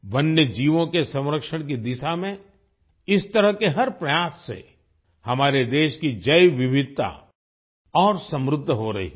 वन्यजीवों के संरक्षण की दिशा में इस तरह के हर प्रयास से हमारे देश की जैव विविधता और समृद्ध हो रही है